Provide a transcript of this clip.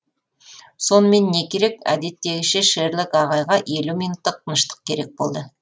сонымен не керек әдеттегіше шерлок ағайға елу минуттық тыныштық керек болды